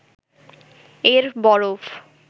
এর বরফ